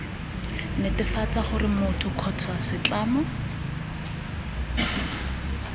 netefatsa gore motho kgotsa setlamo